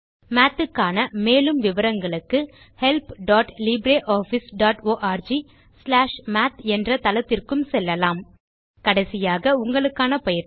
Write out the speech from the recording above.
Mathக்கான மேலும் விவரங்களுக்கு helplibreofficeorgமாத் என்ற தளத்திற்கும் செல்லலாம் கடைசியாக உங்களுக்கான பயிற்சி